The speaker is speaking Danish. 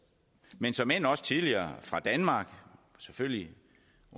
men såmænd også tidligere fra danmark selvfølgelig